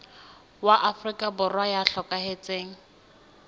wa afrika borwa ya hlokahetseng